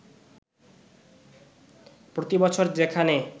প্রতিবছর যেখানে